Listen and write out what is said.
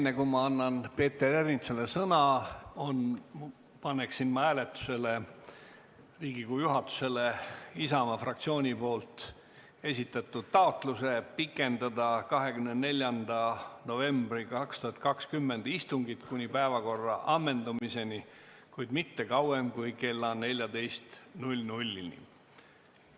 Enne kui ma annan Peeter Ernitsale sõna, paneksin ma hääletusele Riigikogu juhatusele Isamaa fraktsiooni esitatud taotluse pikendada 24. novembri 2020 istungit kuni päevakorra ammendumiseni, kuid mitte kauem kui kella 14-ni.